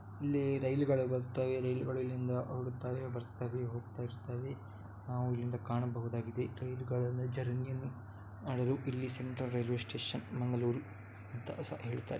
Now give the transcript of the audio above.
ಇಲ್ಲಿ ರೈಲುಗಳು ಬರುತ್ತವೆ ರೈಲುಗಳು ಇಲ್ಲಿಂದ ಹೊರಡುತ್ತವೆ ಬರುತ್ತವೆ ಹೋಗುತ್ತಾ ಇರುತ್ತವೆ ನಾವು ಇಲ್ಲಿಂದ ಕಾಣಬಹುದಾಗಿದೆ. ರೈಲುಗಳು ಜರ್ನಿ ಯನ್ನು ಮಾಡಲು ಇಲ್ಲಿ ಸೆಂಟ್ರಲ್ ರೈಲ್ವೆ ಸ್ಟೇಷನ್ ಮಂಗಳೂರು ಅಂತಸ ಹೇಳ್ತಾರೆ.